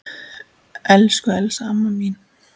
Elsku Elsa amma mín.